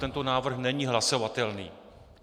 Tento návrh není hlasovatelný.